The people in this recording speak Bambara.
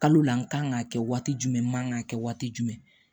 Kalo la n kan ka kɛ waati jumɛn man ka kɛ waati jumɛn